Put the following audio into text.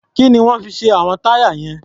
Kí ni wọ́n fi ṣe àwọn táyà yẹn?